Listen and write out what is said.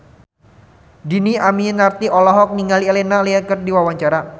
Dhini Aminarti olohok ningali Elena Levon keur diwawancara